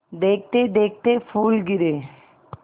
देखते देखते फूल गिरे